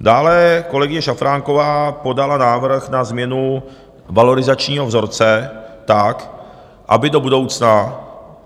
Dále kolegyně Šafránková podala návrh na změnu valorizačního vzorce tak, aby do budoucna